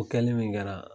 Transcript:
O kɛli min kɛra